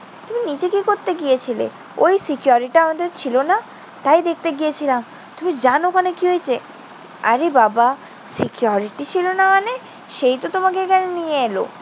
তুমি নিচে কি করতে গিয়েছিলে? ওই security টা আমাদের ছিল না। তাই দেখতে গিয়েছিলাম। তুমি জান ওখানে কি হয়েছে? আরে বাবা, security ছিল না মানে? সেই তো তোমাকে এখানে নিয়ে এলো।